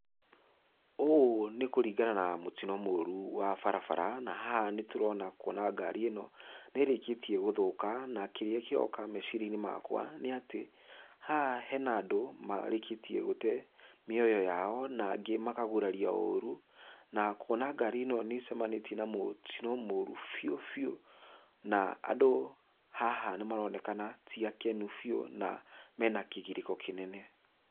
Ũũ nĩ kũringana na mũtino mũru wa barabara, na haha nĩtũrona kuona ngari ĩno nĩĩrĩkĩtie gũthũka, na kĩrĩa kĩroka meciria-inĩ makwa nĩatĩ, haha hena andũ marĩkĩtie gũte mĩoyo yao, na angĩ makagurario ũru, na kuona ngari ĩno nĩĩcemanĩtie na mũtino mũru biũ biũ, na andũ haha nĩmaronekana ti akenu biũ, na mena kĩgirĩko kĩnene.